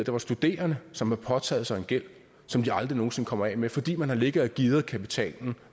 var studerende som havde påtaget sig en gæld som de aldrig nogen sinde kommer af med fordi man har ligget og gearet kapitalen